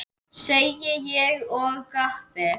segi ég og gapi.